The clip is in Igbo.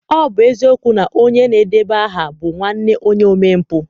Ọ bụ eziokwu na onye na-edeba aha bụ nwanne onye omempụ